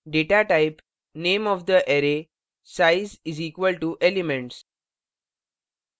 datatype name of the array size is equal to elements datatype array का name आकार size elements के बराबर है